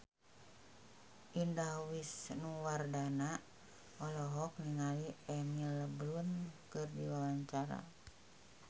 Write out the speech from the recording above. Indah Wisnuwardana olohok ningali Emily Blunt keur diwawancara